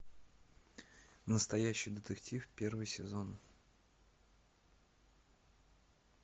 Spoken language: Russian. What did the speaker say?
настоящий детектив первый сезон